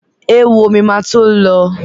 Éwo mi ma tó lọ